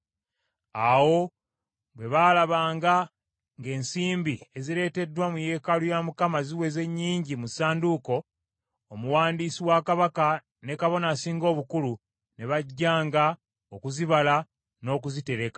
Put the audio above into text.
Awo bwe baalabanga ng’ensimbi ezireeteddwa mu yeekaalu ya Mukama ziweze nnyingi mu ssanduuko, omuwandiisi wa kabaka ne kabona asinga obukulu ne bajjanga okuzibala n’okuzitereka.